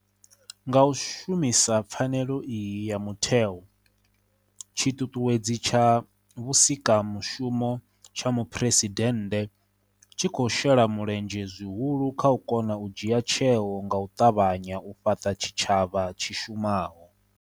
Nga u shumisa pfanelo iyi ya mutheo, Tshiṱuṱuwedzi tsha Vhusikamushumo tsha Muphuresidennde tshi khou shela mulenzhe zwihulu kha u kona u dzhia tsheo nga u ṱavhanya u fhaṱa tshitshavha tshi shumaho.